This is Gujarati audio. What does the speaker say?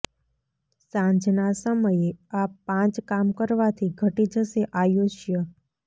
સાંજના સમયે આ પાંચ કામ કરવાથી ઘટી જશે આયુષ્ય